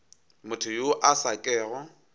motho yo a sa kego